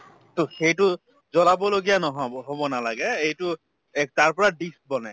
to সেইটো জ্বলাব লগীয়া নহব হব নালাগে এইটো তাৰপৰা dish বনে